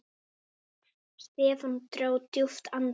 Stefán dró djúpt andann.